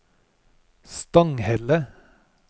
Stanghelle